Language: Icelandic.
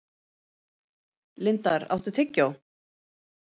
Lindar, áttu tyggjó?